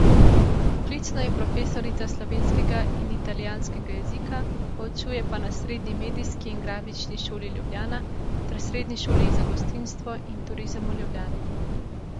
Poklicno je profesorica slovenskega in italijanskega jezika, poučuje pa na Srednji medijski in grafični šoli Ljubljana ter Srednji šoli za gostinstvo in turizem v Ljubljani.